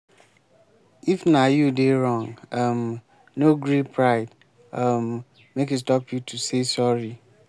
if na you dey wrong um no gree pride um make e stop you to say sorry.